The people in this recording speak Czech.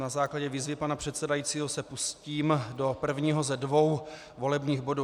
Na základě výzvy pana předsedajícího se pustím do prvního ze dvou volebních bodů.